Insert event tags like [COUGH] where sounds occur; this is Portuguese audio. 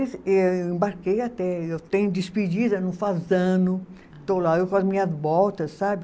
[UNINTELLIGIBLE] Eu embarquei até, eu tenho despedida no Fasano, estou lá, eu com as minhas botas, sabe?